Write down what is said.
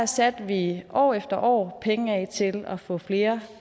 satte vi år efter år penge af til at få flere